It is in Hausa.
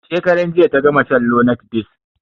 Shekaran jiya ta gama shan lonart ds